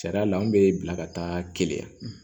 Sariya la an bɛ bila ka taa keleya yan